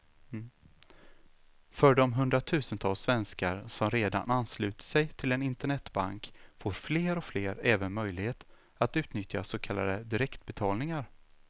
För de hundratusentals svenskar som redan anslutit sig till en internetbank får fler och fler även möjlighet att utnyttja så kallade direktbetalningar.